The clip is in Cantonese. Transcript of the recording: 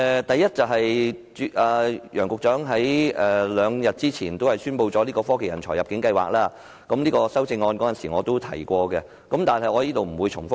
第一，楊局長在兩天前宣布推出科技人才入境計劃，我在修正案中也有提及，所以在此不會再重複。